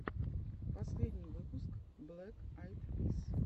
последний выпуск блэк айд пис